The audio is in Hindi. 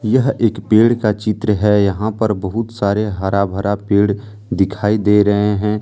यह एक पेड़ का चित्र है यहां पर बहुत सारे हरा भरा पेड़ दिखाई दे रहे हैं।